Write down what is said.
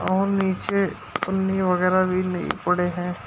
और नीचे थुन्नी वगैरा भी पड़े है।